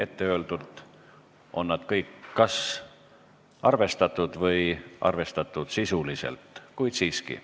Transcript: Etteöeldult on need kõik kas arvestatud või arvestatud sisuliselt, kuid siiski.